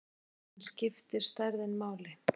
En skiptir stærðin máli?